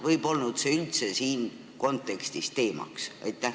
Või polnud see üldse selles kontekstis teemaks?